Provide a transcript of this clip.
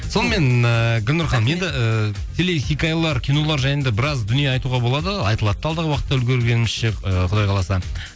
сонымен ыыы гүлнұр ханым енді ііі телехикаялар кинолар жайында біраз дүние айтуға болады айтылады да алдағы уақытта үлгергенімізше ыыы құдай қаласа